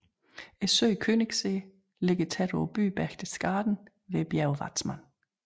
Søen Königssee ligger tæt på byen Berchtesgaden ved bjerget Watzmann